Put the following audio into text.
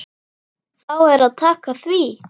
Þá er að taka því.